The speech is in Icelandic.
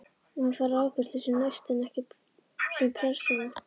Maður fær afgreiðslu sem næsti en ekki sem persóna.